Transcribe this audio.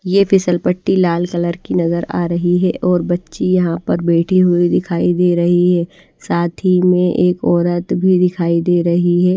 ये फिसल पट्टी लाल कलर की नजर आ रही है और बच्ची यहां पर बैठी हुई दिखाई दे रही है साथ ही में एक औरत भी दिखाई दे रही है।